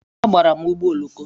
Agbara m ụgbọ oloko.